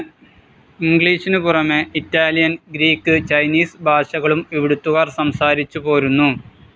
ഇംഗ്ലീഷിനുപുറമെ Italian, Greek, Chinese ഭാഷകളും ഇവിടുത്തുകാർ സംസാരിച്ചുപോരുന്നു.